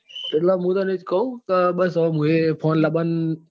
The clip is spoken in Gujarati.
એટલે હું તને એ જ કઉં કે બસ હુયે phone લાવવાન